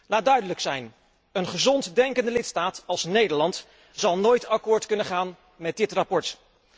Laat duidelijk zijn een gezond denkende lidstaat als Nederland zal nooit akkoord kunnen gaan met dit verslag.